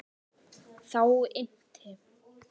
Þá innti